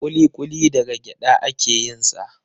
Kuli-kuli daga gyada a ke yin sa